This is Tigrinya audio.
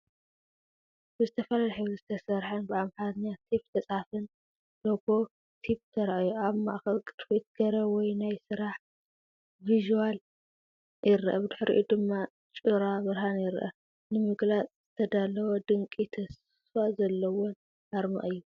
ብዝተፈላለየ ሕብሪ ዝተሰርሐን ብኣምሓርኛ ቴፕ ዝተፅሓፈን ሎጎ ቲፕ ተራእዩ። ኣብ ማእከል ቅርፊት ገረብ ወይ ናይ ስራሕ ቪዥዋል ይረአ ብድሕሪኡ ድማ ጩራ ብርሃን ይረአ። ንምግላጽ ዝተዳለወ ድንቂን ተስፋ ዘለዎን ኣርማ እዩ።